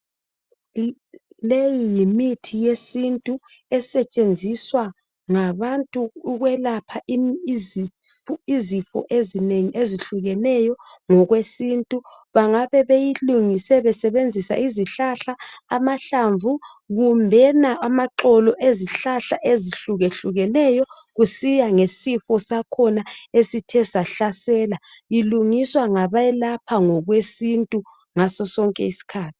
Leyi yimithi yesintu, esetshenziswa ngabantu ukwelapha izifo ezinengi ezehlukeneyo ngokwesintu. Bangabe beyilungise besebenzisa izihlahla, amahlamvu kumbena amaxolo, ezihlahla ezihlukehlukeneyo. Kusiya ngesifo sakhona esithe sahlasela. Ilungiswa ngabelapha ngokwesintu, ngaso sonke isikhathi.